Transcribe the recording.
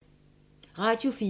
Radio 4